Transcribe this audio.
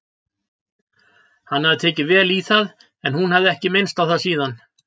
Hann hafði tekið vel í það en hún hafði ekki minnst á það síðan.